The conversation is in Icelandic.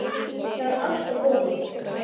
Það er allt að koma.